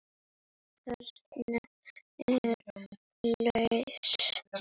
Kraginn er laus.